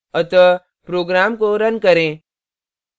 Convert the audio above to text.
अतः program को run करें